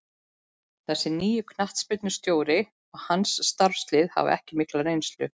Þessi nýi knattspyrnustjóri og hans starfslið hafa ekki mikla reynslu.